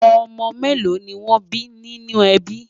ọ̀mò mélò ní wón bí ní nínú ẹbí?